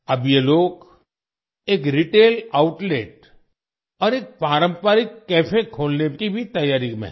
अब ये लोग एक रिटेल आउटलेट और एक पारंपरिक कैफे खोलने की तैयारी में भी हैं